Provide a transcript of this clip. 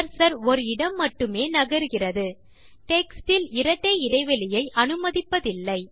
cursor ஒரு இடம் மட்டுமே நகருகிறது டெக்ஸ்ட் இல் இரட்டை இடைவெளியை அனுமதிப்பதில்லை